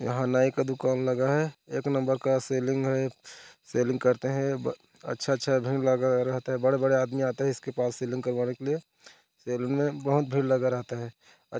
यहाँ नाई का दुकान लगा है एक नंबर का सीलिंग है सीलिंग करते है अच्छा भीड़ लगा रहता है बड़े-बड़े आदमी आते है इसके पास सेलून करवाने के लिए सेलून में बहोत भीड़ लगा रहता है